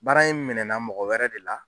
Baara in minɛnna mɔgɔ wɛrɛ de la.